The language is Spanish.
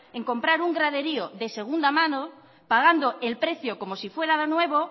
en comprar un graderío de segunda mano pagando el precio como si fuera nuevo